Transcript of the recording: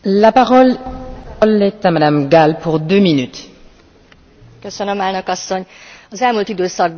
Az elmúlt időszakban nem telik el úgy nap, hogy ne hallanánk nagyon súlyos emberjogsértésekről szerte a világban.